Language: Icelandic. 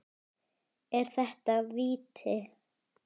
Er þetta víti?